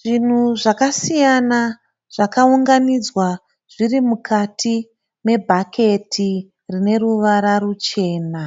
Zvinhu zvakasiyana zvakaunganidzwa zviri mukati me bhaketi rine ruvara ruchena.